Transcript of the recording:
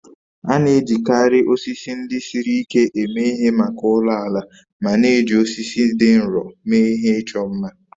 A na-ejikarị osisi ndị siri ike eme ihe maka ụlọ ala ma na-eji osisi dị nro mee ihe ịchọ mma.